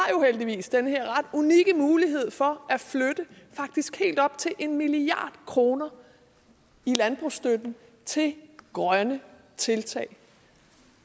heldigvis den her ret unikke mulighed for at flytte faktisk helt op til en milliard kroner i landbrugsstøtten til grønne tiltag